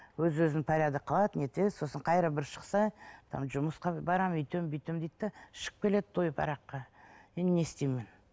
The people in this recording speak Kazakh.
өз өзін порядокқа алады не етеді сосын бір шықса там жұмысқа барамын өйтемін бүйтемін дейді де ішіп келеді тойып араққа енді не істеймін мен